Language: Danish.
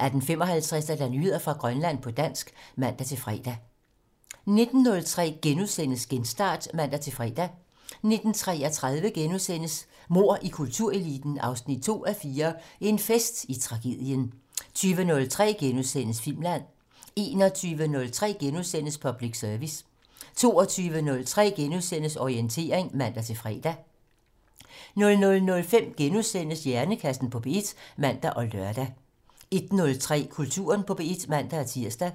18:55: Nyheder fra Grønland på dansk (man-fre) 19:03: Genstart *(man-fre) 19:33: Mord i kultureliten 2:4 - En fest i tragedien * 20:03: Filmland: * 21:03: Public Service *(man) 22:03: Orientering *(man-fre) 00:05: Hjernekassen på P1 *(man og lør) 01:03: Kulturen på P1 (man-tir)